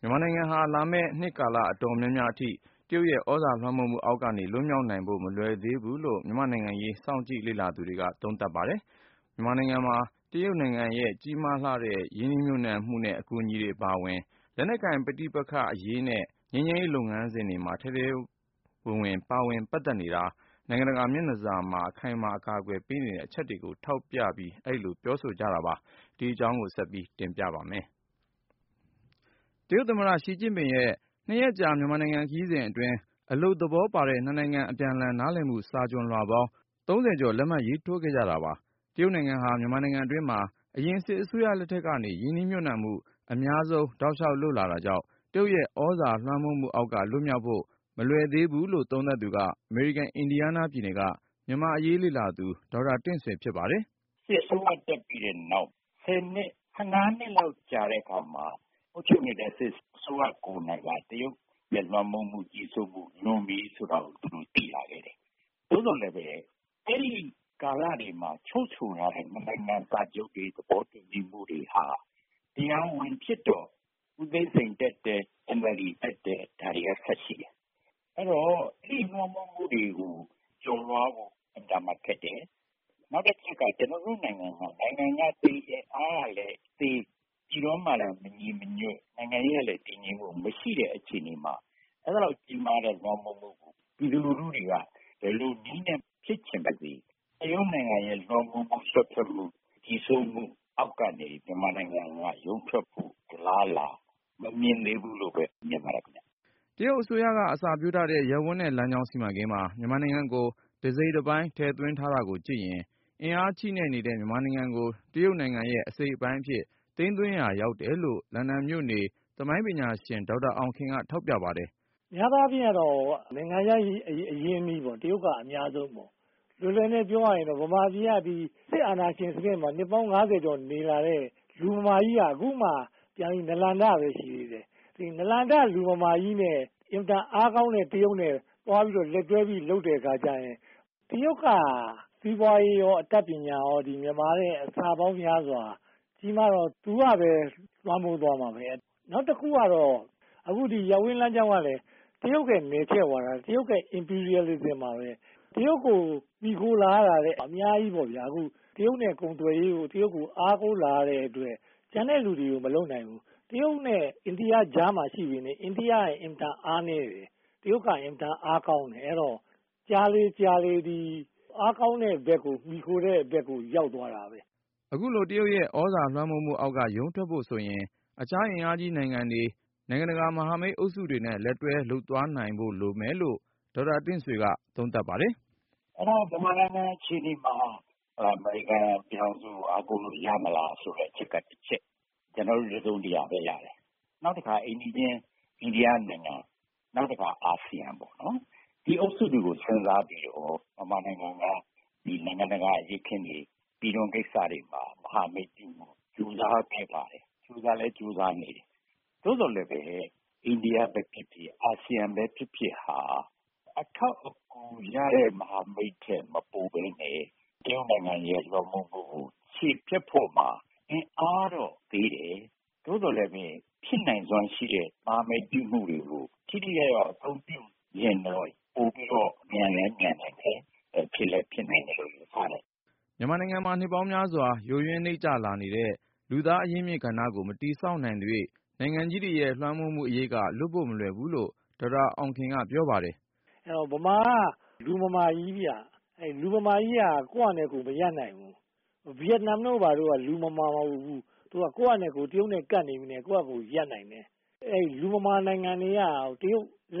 မြန်မာနိုင်ငံဟာ လာမယ့် နှစ်ကာလ အတော်များများအထိ တရုတ်ရဲ့ သြဇာလွှမ်းမိုးမှုအောက်ကနေ လွတ်မြောက်နိုင်ဖို့ မလွယ်သေးဘူးလို့ မြန်မာ့နိုင်ငံရေး စောင့်ကြည့်လေ့လာသူတွေက သုံးသပ်ကြပါတယ်။ မြန်မာနိုင်ငံမှာ တရုတ်နိုင်ငံရဲ့ ကြီးမားတဲ့ ရင်းနှီးမြှုပ်နှံမှုနဲ့ အကူအညီတွေ အပါအဝင် လက်နက်ကိုင်ပဋိပက္ခအရေးနဲ့ ငြိမ်းချမ်းရေးလုပ်ငန်းစဉ်တွေမှာ ထဲထဲဝင်ဝင် ပါဝင်ပတ်သက်နေတာ၊ နိုင်ငံတကာ မျက်နှာစာမှာပါ အခိုင်အမာ အကာကွယ်ပေးနေတဲ့ အချက်တွေကို ထောက်ပြပြီး အဲဒီလို ပြောဆိုကြတာပါ။ ဒီအကြောင်း ကိုဉာဏ်ဝင်းအောင်က စုစည်းတင်ပြထားပါတယ်။ တရုတ်သမ္မတ Xi Jinping ရဲ့ နှစ်ရက်ကြာ မြန်မာနိုင်ငံ ခရီးစဉ်အတွင်း အလုပ်သဘောပါတဲ့ နှစ်နိုင်ငံ အပြန်အလှန်နားလည်မှု စာချွန်လွှာပေါင်း ၃၀ ကျော် လက်မှတ်ရေးထိုးခဲ့ကြတာပါ။ တရုတ်နိုင်ငံဟာ မြန်မာနိုင်ငံတွင်းမှာ အရင်စစ်အစိုးရလက်ထက်ကနေ ရင်းနှီးမြှုပ်နှံမှု အများဆုံး တောက်လျှောက်လုပ်လာတာကြောင့် တရုတ်ရဲ့ သြဇာလွှမ်းမိုးမှုအောက်က လွတ်မြောက်ဖို့ မလွယ်သေးဘူးလို့ သုံးသပ်သူက အမေရိကန် အင်ဒီယားနားပြည်နယ်က မြန်မာ့အရေးလေ့လာသူ ဒေါက်တာတင့်ဆွေ ဖြစ်ပါတယ်။ “စစ်အစိုးရတက်ပြီးတဲ့နောက် ဆယ်နှစ် ဆယ့်ငါးနှစ်လောက် ကြာတဲ့အခါမှာ အုပ်ချုပ်နေတဲ့ စစ်အစိုးရကိုယ်တိုင်က တရုတ်ရဲ့ လွှမ်းမိုးမှု၊ ကြီးစိုးမှု လွန်ပြီဆိုတာကို သူတို့ သိလာခဲ့တယ်။ သို့သော်လည်း အဲဒီကာလတွေမှာ ချုပ်ဆိုထားတဲ့ စာချုပ်တွေ၊ သဘောတူညီမှုတွေဟာ တရားဝင်ဖြစ်တော့ ဦးသိန်းစိန် တက်တယ်၊ NLD တက်တယ်၊ ဒါတွေက ဆက်ရှိတယ်။ အဲတော့ တရုတ်လွှမ်းမိုးမှုတွေကို ကျော်လွှားဖို့ အင်မတန်ခက်တယ်။ နောက်တခုက ကျနော်တို့နိုင်ငံမှာ နိုင်ငံကသေးတယ်၊ အားကလည်းသေး၊ ပြည်တွင်းမှာလည်း မညီမညွတ်၊ နိုင်ငံရေးကလည်း တည်ငြိမ်မှုမရှိတဲ့ အခြေအနေမှာ အဲဒီလောက် ကြီးမားတဲ့ လွှမ်းမိုးမှုကို ပြည်သူလူထုတွေက ဘယ်လိုနည်းနဲ့ဖြစ်ပါစေ၊ တရုတ်နိုင်ငံရဲ့ လွှမ်းမိုးမှု၊ စွက်ဖက်မှု၊ ကြီးစိုးမှုအောက်ကနေ မြန်မာနိုင်ငံက ရုန်းထွက်ဖို့ အလားအလာ မမြင်သေးဘူးလို့ပဲ မြင်ပါတယ်။” တရုတ်အစိုးရက အစပျိုးထားတဲ့ ရပ်ဝန်းနဲ့ လမ်းကြောင်းစီမံကိန်းမှာ မြန်မာနိုင်ငံကို တစိတ်တပိုင်း ထည့်သွင်းထားတာကိုကြည့်ရင် အင်အားချည့်နဲ့နေတဲ့ မြန်မာနိုင်ငံကို တရုတ်နိုင်ငံရဲ့ အစိတ်အပိုင်းအဖြစ် သိမ်းသွင်းရာရောက်တယ်လို့ လန်ဒန်မြို့နေ သမိုင်းပညာရှင် ဒေါက်တာအောင်ခင်က ထောက်ပြပါတယ်။ “များသောအားဖြင့်တော့ နိုင်ငံခြားအရင်းအနှီးပေါ့၊ တရုတ်က အများဆုံးပေါ့။ လွယ်လွယ်နဲ့ ပြောရရင်တော့ မြန်မာပြည်က စစ်အာဏာရှင်စနစ်မှာ နှစ်ပေါင်းငါးဆယ်ကျော် နေလာတဲ့ လူမမာကြီးက အခုမှပြန်ပြီး နာလန်ထပဲ ရှိသေးတယ်။ ဒီ နာလန်ထ လူမမာကြီးနဲ့ အင်မတန် အားကောင်းတဲ့ တရုတ်နဲ့ သွားပြီး လက်တွဲလုပ်တဲ့အခါကြရင် တရုတ်က စီးပွားရေးရော အတတ်ပညာရော မြန်မာထက် အဆပေါင်းများစွာ ကြီးမားတော့ သူကပဲ လွှမ်းမိုးသွားမှာပဲ။ နောက်တခုကတော့ အခု ရပ်ဝန်းလမ်းကြောင်းကလည်း တရုတ်ရဲ့ နယ်ချဲ့ဝါဒ၊ တရုတ်ရဲ့ Imperialism ပါပဲ။ တရုတ်ကို မှီခိုလာရတာလည်း အများကြီးပေါ့။ အခု တရုတ်နဲ့ကုန်သွယ်ရေးကို တရုတ်ကို အားကိုးလာရတဲ့အတွက် ကျန်တဲ့လူတွေကို မလုပ်နိုင်ဘူး။ တရုတ်နဲ့ အိန္ဒိယကြားမှာ ရှိပေမယ့် အိန္ဒိယက အင်မတန် အားနည်းတယ်။ တရုတ်က အင်မတန် အားကောင်းတယ်။ အဲတော့ ကြာလေ ကြာလေ အားကောင်းတဲ့ဘက် မှီခိုတဲ့ဘက်ကို ရောက်သွားတာပဲ။” အခုလို တရုတ်ရဲ့ သြဇာလွှမ်းမိုးမှုအောက်က ရုန်းထွက်ဖို့ဆိုရင် တခြားအင်အားကြီးနိုင်ငံတွေ၊ နိုင်ငံတကာ မဟာမိတ်အုပ်စုတွေနဲ့ လက်တွဲ လုပ်သွားနိုင်ဖို့ လိုမယ်လို့ ဒေါက်တာတင့်ဆွေက သုံးသပ်ပါတယ်။ “အဲတော့ ဗမာနိုင်ငံ အခြေအနေမှာ အမေရိကန်ပြည်ထောင်စုကို အားကိုးလို့ ရမလားဆိုတဲ့ အချက်ကတချက်၊ ကျနော်တို့ တစုံတရာပဲရတယ်။ နောက်တခါ အိမ်နီးချင်း အိန္ဒိယနိုင်ငံ၊ နောက်တခါ အာဆီယံပေါ့။ ဒီအုပ်စုတွေကို စဉ်းစားပြီးတော့ ဗမာနိုင်ငံက နိုင်ငံတကာ အရေးအခင်းတွေ၊ ပြည်တွင်းကိစ္စတွေမှာ မဟာမိတ်ပြုဖို့ ကြိုးစားခဲ့ပါတယ်။ ကြိုးစားလည်း ကြိုးစားနေတယ်။ သို့သော်လည်း အိန္ဒိယပဲဖြစ်ဖြစ်၊ အာဆီယံပဲဖြစ်ဖြစ်ဟာ အထောက်အကူရတဲ့ မဟာမိတ်ထက် မပိုဘဲနဲ့ တရုတ်နိုင်ငံရဲ့ လွှမ်းမိုးမှုကို ချေဖျက်ဖို့မှာ အင်အားတော့ သေးတယ်။ သို့သော်လည်းပဲ ဖြစ်နိုင်စွမ်းရှိတဲ့ မဟာမိတ်ပြုမှုတွေကို ထိထိရောက်ရောက် အသုံးပြုရင်တော့ ပိုပြီးတော့ မြန်လည်းမြန်နိုင်တယ်၊ ဖြစ်လည်း ဖြစ်နိုင်တယ်လို့ ယူဆတယ်။” မြန်မာနိုင်ငံမှာ နှစ်ပေါင်းများစွာ ယိုယွင်းနိမ့်ကျလာခဲ့တဲ့ လူသားအရင်းအမြစ် ကဏ္ဍကို မတည်ဆောက်နိုင်သရွေ့ နိုင်ငံကြီးတွေရဲ့ လွှမ်းမိုးမှုအရိပ်က လွတ်ဖို့မလွယ်ဘူးလို့ ဒေါက်တာအောင်ခင်က ပြောပါတယ်။ “ဗမာက လူမမာကြီးဗျ။ လူမမာကြီးက ကိုယ့်ဟာနဲ့ကိုယ် မရပ်နိုင်ဘူး။ ဗီယက်နမ်တို့ ဘာတို့က လူမမာမဟုတ်ဘူး။ သူတို့က တရုတ်နဲ့ ကပ်နေပေမယ့် ကိုယ့်ဟာကို ရပ်နိုင်တယ်။ လူမမာနိုင်ငံတွေက တရုတ်သြ